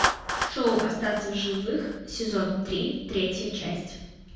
шоу остаться в живых сезон три третья часть